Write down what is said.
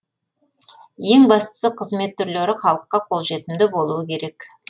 ең бастысы қызмет түрлері халыққа қолжетімді болуы керек